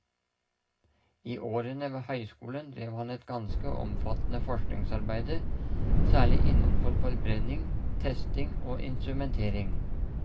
I årene ved høyskolen drev han et ganske omfattende forskningsarbeide, særlig innenfor forbrenning, testing og instrumentering.